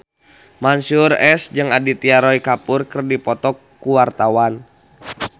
Mansyur S jeung Aditya Roy Kapoor keur dipoto ku wartawan